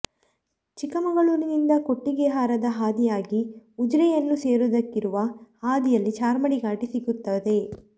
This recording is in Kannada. ಚಿಕ್ಕಮಗಳೂರಿನಿಂದ ಕೊಟ್ಟಿಗೆಹಾರದ ಹಾದಿಯಾಗಿ ಉಜಿರೆಯನ್ನು ಸೇರುವುದಕ್ಕಿರುವ ಹಾದಿಯಲ್ಲಿ ಚಾರ್ಮಾಡಿ ಘಾಟಿ ಸಿಗುತ್ತದೆ